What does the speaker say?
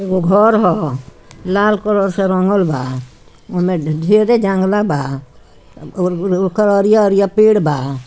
एगो घर ह । लाल कलर से रंगल बा । ओने ढेरे जंगला बा । ओकर अरिया अरिया पेड़ बा ।